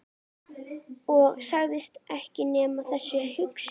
Og sagðist ekki nenna þessu hangsi.